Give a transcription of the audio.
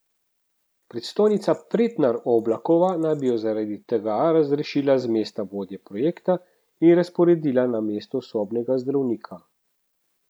Predstojnica Pretnar Oblakova naj bi jo zaradi tega razrešila z mesta vodje projekta in razporedila na mesto sobnega zdravnika.